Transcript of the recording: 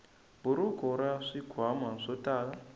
buruku ra swikhwama swo tala